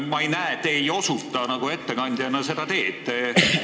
Te ei osuta ettekandjana seda teed, ma ei näe seda.